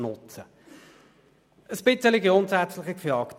Ein bisschen grundsätzlicher gefragt: